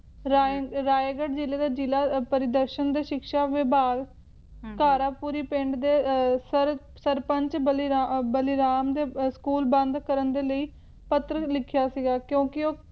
ਰਾਏ`ਰਾਏਗੜ੍ਹ ਜਿਲ੍ਹਾ ਦੇ ਜਿਲ੍ਹਾ ਪਰਿਦ੍ਰਸ਼ਨ ਦੇ ਸ਼ਿਕਸ਼ਾ ਵਿਭਾਗ ਘਾਰਾਪੂਰੀ ਪਿੰਡ ਦੇ ਸਰ`ਸਰਪੰਚ ਬਲੀਰਾਮ ਦੇ school ਬੰਦ ਕਰਨ ਦੇ ਲਈ ਪੱਤਰ ਲਿਖਿਆ ਸੀਗਾ ਕਿਉਂਕਿ ਉਹ